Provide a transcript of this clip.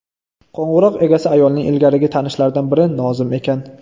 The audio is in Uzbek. Qo‘ng‘iroq egasi ayolning ilgarigi tanishlaridan biri Nozim ekan.